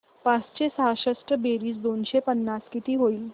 पाचशे सहासष्ट बेरीज दोनशे पन्नास किती होईल